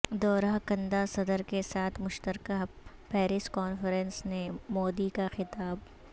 دورہ کنندہ صدر کے ساتھ مشترکہ پیریس کانفرنس سے مودی کا خطاب